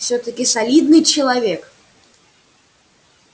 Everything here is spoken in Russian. всё-таки солидный человек